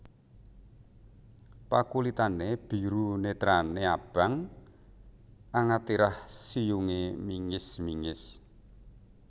Pakulitané biru netrané abang angatirah siyungé mingis mingis